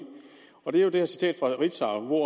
det er jo det her citat fra ritzau hvor